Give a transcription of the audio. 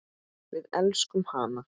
Við elskum hana.